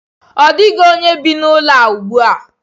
Ọ dịghị onye bi n'ụlọ a ugbu a.